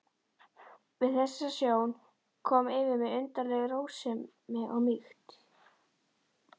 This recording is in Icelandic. Við þessa sjón kom yfir mig undarleg rósemi og mýkt.